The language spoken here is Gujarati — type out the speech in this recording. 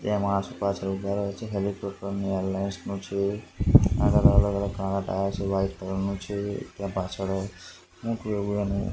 તેમાં આસપાસ હેલિકોપ્ટર ની એરલાઇન્સ નો છે અલગ અલગ કાળા ટાયર છે વ્હાઇટ કલર નુ છે ત્યાં પાછળ મોટું એવુ એનુ--